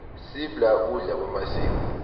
sibla kudla kwemasiko